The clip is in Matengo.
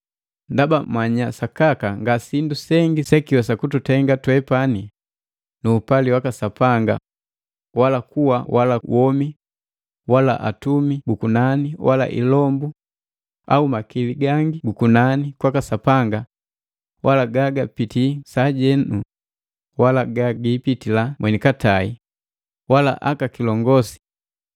Ndaba manya sakaka nga sindu sengi sekiwesa kututenga twepani nu upali waka Sapanga wala kuwa wala womi wala atumi bu kunani wala ilombu au makili gangi gukunani kwaka Sapanga wala gagapitii sajenu wala gagiipitila mweni katai wala aka kilongosi,